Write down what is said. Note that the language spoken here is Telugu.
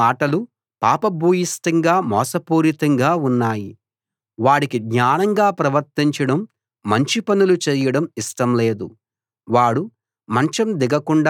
వాడు పలికే మాటలు పాప భూయిష్టంగా మోసపూరితంగా ఉన్నాయి వాడికి జ్ఞానంగా ప్రవర్తించడం మంచి పనులు చేయడం ఇష్టం లేదు